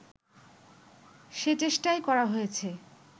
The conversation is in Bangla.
সে চেষ্টাই করা হয়েছে